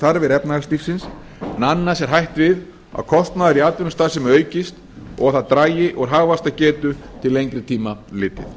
þarfir efnahagslífsins en annars er hætt við kostnaður í atvinnustarfsemi aukist og að það dragi úr hagvaxtargetu til lengri tíma litið